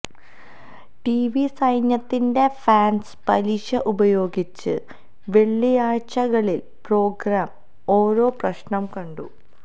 TV സൈന്യത്തിന്റെ fans പലിശ ഉപയോഗിച്ച് വെള്ളിയാഴ്ചകളിൽ പ്രോഗ്രാം ഓരോ പ്രശ്നം കണ്ടു